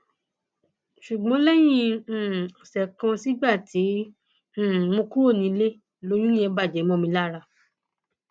ṣùgbọn lẹyìn um ọsẹ kan sígbà tí um mo kúrò nílé lóyún yẹn bàjẹ mọ mi lára